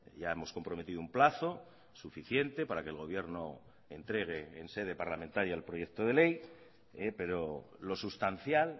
ya hemos comprometido un plazo suficiente para que el gobierno entregue en sede parlamentaria el proyecto de ley pero lo sustancial